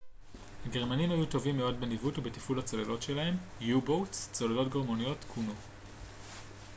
צוללות גרמניות כונו u-boats הגרמנים היו טובים מאוד בניווט ובתפעול הצוללות שלהם